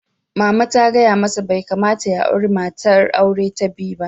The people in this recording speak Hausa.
Mama ta gaya masa "Bai kamata ya auri matar aure ta biyu ba!"